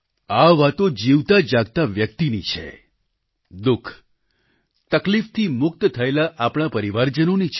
આ વાતો જીવતાજાગતા વ્યક્તિની છે દુઃખ તકલીફથી મુક્ત થયેલા આપણા પરિવારજનોની છે